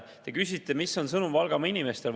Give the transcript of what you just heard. Te küsisite, mis on sõnum Valgamaa inimestele.